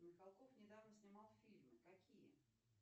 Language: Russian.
михалков недавно снимал фильмы какие